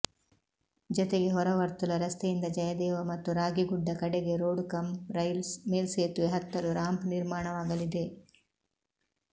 ಜತೆಗೆ ಹೊರವರ್ತುಲ ರಸ್ತೆಯಿಂದ ಜಯದೇವ ಮತ್ತು ರಾಗಿಗುಡ್ಡ ಕಡೆಗೆ ರೋಡ್ ಕಂ ರೈಲ್ ಮೇಲ್ಸೇತುವೆ ಹತ್ತಲು ರಾಂಪ್ ನಿರ್ಮಾಣವಾಗಲಿದೆ